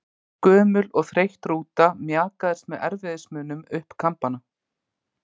Gömul og þreytt rúta mjakaðist með erfiðismunum upp Kambana.